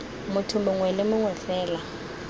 motho mongwe le mongwe fela